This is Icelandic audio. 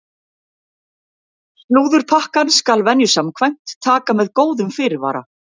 Slúðurpakkann skal venju samkvæmt taka með góðum fyrirvara!